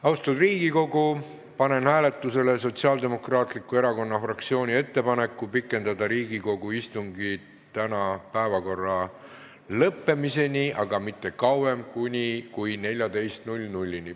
Austatud Riigikogu, panen hääletusele Sotsiaaldemokraatliku Erakonna fraktsiooni ettepaneku pikendada Riigikogu istungit tänase päevakorra lõppemiseni, aga mitte kauem kui kella 14-ni.